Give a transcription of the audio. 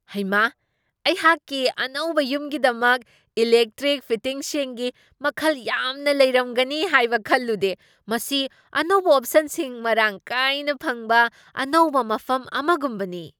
ꯍꯩꯃꯥ, ꯑꯩꯍꯥꯛꯀꯤ ꯑꯅꯧꯕ ꯌꯨꯝꯒꯤꯗꯃꯛ ꯏꯂꯦꯛꯇ꯭ꯔꯤꯛ ꯐꯤꯇꯤꯡꯁꯤꯡꯒꯤ ꯃꯈꯜ ꯌꯥꯝꯅ ꯂꯩꯔꯝꯒꯅꯤ, ꯍꯥꯏꯕ ꯈꯜꯂꯨꯗꯦ, ꯃꯁꯤ ꯑꯅꯧꯕ ꯑꯣꯞꯁꯟꯁꯤꯡ ꯃꯔꯥꯡ ꯀꯥꯏꯅ ꯐꯪꯕ ꯑꯅꯧꯕ ꯃꯐꯝ ꯑꯃꯒꯨꯝꯕꯅꯤ !